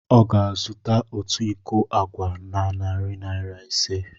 Ọ ga-azụta otu iko agwa na narị naira ise.